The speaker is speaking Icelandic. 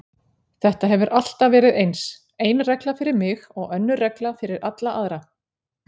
Þetta hefur alltaf verið eins, ein regla fyrir mig og önnur regla fyrir alla aðra.